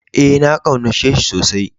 Ee, na kaunace shi tsosai.